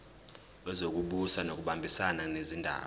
wezokubusa ngokubambisana nezindaba